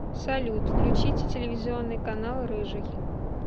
салют включите телевизионный канал рыжий